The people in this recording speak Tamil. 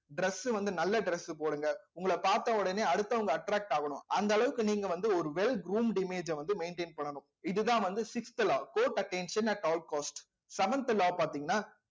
dress வந்து நல்ல dress போடுங்க உங்களை பார்த்த உடனே அடுத்தவங்க attract ஆகணும் அந்த அளவுக்கு நீங்க வந்து ஒரு well groomed image அ வந்து maintain பண்ணணும் இதுதான் வந்து sixth law court attention at our cost seventh law பார்த்தீங்கன்னா